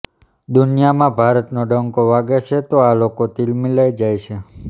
દુનિયામાં ભારતનો ડંકો વાગે છે તો આ લોકો તિલમિલાઈ જાય છે